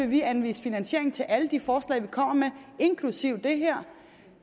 vi anvise finansiering til alle de forslag vi kommer med inklusive det her